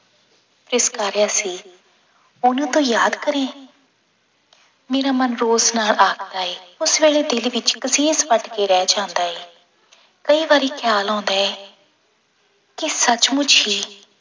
ਤਿਰਸਕਾਰਿਆ ਸੀ ਉਹਨੂੰ ਤੂੰ ਯਾਦ ਕਰੇ ਮੇਰਾ ਮਨ ਰੋਸ਼ ਨਾਲ ਆਖਦਾ ਹੈ, ਉਸ ਵੇਲੇ ਦਿਲ ਵਿੱਚ ਰਹਿ ਜਾਂਦਾ ਹੈ, ਕਈ ਵਾਰੀ ਖਿਆਲ ਆਉਂਦਾ ਹੈ ਕਿ ਸੱਚ ਮੁੱਚ ਹੀ